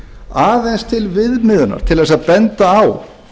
aðeins til viðmiðunar til þess að benda á